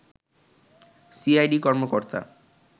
CID কর্মকর্তা